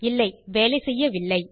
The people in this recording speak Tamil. இல்லை வேலை செய்யவில்லை